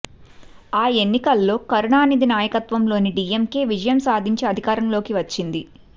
ఆ ఎన్నికల్లో కరుణానిధి నాయకత్వంలోని డీఎంకే విజయం సాధించి అధికారంలోకి వచ్చింది